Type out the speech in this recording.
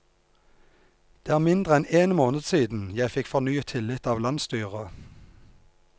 Det er mindre enn en måned siden jeg fikk fornyet tillit av landsstyret.